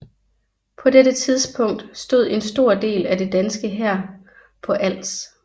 På dette tidspunkt stod en stor del af den danske hær på Als